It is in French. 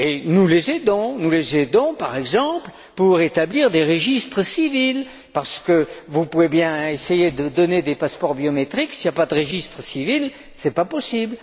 Nous les aidons, par exemple pour établir des registres civils, parce que vous pouvez bien essayer de donner des passeports biométriques, s'il n'y a pas de registre civil, ce n'est pas possible.